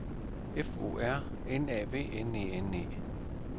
F O R N A V N E N E